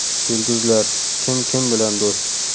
Yulduzlar: kim kim bilan do‘st?.